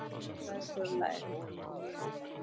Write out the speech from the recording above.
Hann slær sér á lær.